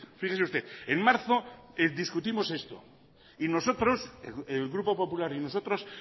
fíjese usted en marzo discutimos estos y nosotros el grupo popular y nosotros